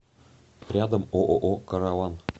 рядом ооо караван